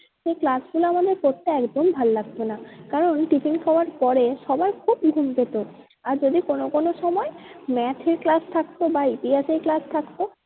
সে class গুলো আমাদের করতে একদম ভালো লাগতো না। কারণ tiffin খাওয়ার পরে সবার খুব ঘুম পেতো। আর যদি কোনো কোনো সময় math এর class থাকতো বা ইতিহাসের class থাকতো